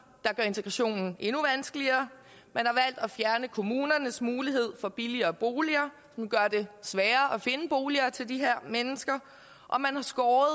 der gør integrationen endnu vanskeligere man har valgt at fjerne kommunernes mulighed for billigere boliger som gør det sværere at finde boliger til de her mennesker og man har skåret